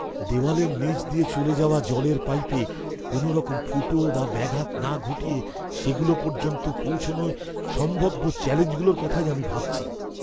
দেওয়ালের নীচ দিয়ে চলে যাওয়া জলের পাইপে কোনওরকম ফুটো বা ব্যাঘাত না ঘটিয়ে সেগুলো পর্যন্ত পৌঁছনোয় সম্ভাব্য চ্যালেঞ্জগুলোর কথাই আমি ভাবছি।